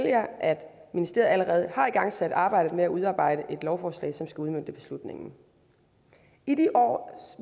jer at ministeriet allerede har igangsat arbejdet med at udarbejde et lovforslag som skal udmønte beslutningen i de år